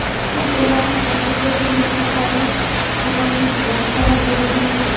Chunki ularning tarkibida turli kasallik qo‘zg‘atuvchi vositalar bo‘lishi mumkin.